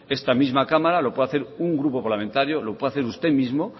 esta misma cámara lo pude hacer un grupo parlamentario lo puede hacer usted mismo